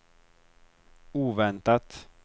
oväntat